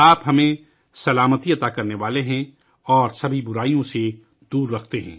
تو ہی ہمارا محافظ ہے اور ہمیں تمام برائیوں سے دور رکھے